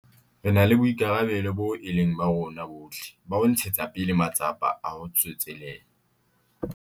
Re na le boikarabelo boo e leng ba rona bohle ba ho ntshetsa pele matsapa a ho tsetselela